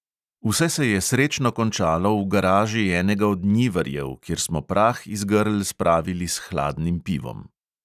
Vse se je srečno končalo v garaži enega od njivarjev, kjer smo prah iz grl spravili s hladnim pivom.